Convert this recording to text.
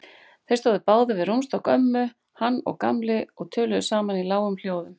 Þeir stóðu báðir við rúmstokk ömmu, hann og Gamli, og töluðu saman í lágum hljóðum.